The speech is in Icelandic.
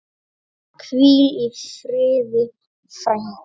Hvíl í friði, frænka.